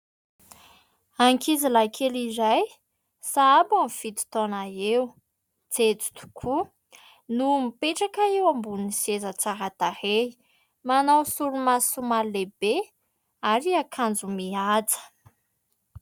Ankizy lahy kely iray, sahabo amin'ny fito taona eo, jejo tokoa no mipetraka eo ambony seza tsara tarehy. Manao solomaso somary lehibe ary akanjo mihaja.